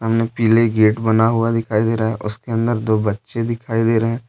सामने पीले गेट बना हुआ दिखाई दे रहा है उसके अंदर दो बच्चे दिखाई दे रहे हैं।